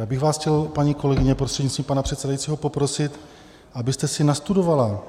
Já bych vás chtěl, paní kolegyně, prostřednictví pana předsedajícího poprosit, abyste si nastudovala